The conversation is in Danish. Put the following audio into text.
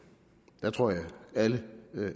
der tror jeg at alle